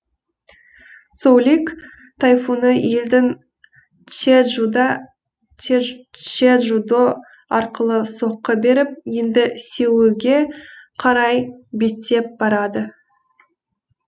соулик тайфуны елдің чеджудо арқылы соққы беріп енді сеулге қарай беттеп барады